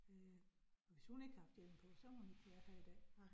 Øh hvis hun ikke har haft hjelm på, så havde hun ikke været her i dag